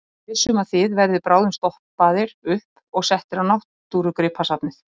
Ég er viss um að þið verðið bráðum stoppaðar upp og settar á Náttúrugripasafnið.